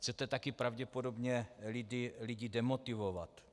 Chcete taky pravděpodobně lidi demotivovat.